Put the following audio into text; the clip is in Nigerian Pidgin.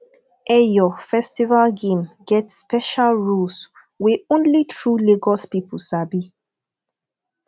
eyo festival game get special rules wey only true lagos people sabi